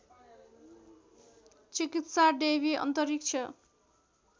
चिकित्सा डेवी अन्तरिक्ष